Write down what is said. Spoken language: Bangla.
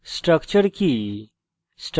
structure কি